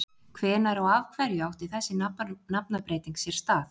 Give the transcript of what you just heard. Hvenær og af hverju átti þessi nafnabreyting sér stað?